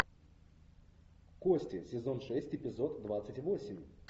кости сезон шесть эпизод двадцать восемь